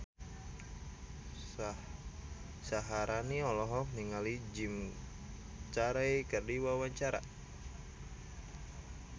Syaharani olohok ningali Jim Carey keur diwawancara